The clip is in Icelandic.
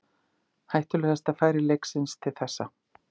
Hættulegasta færi leiksins til þessa.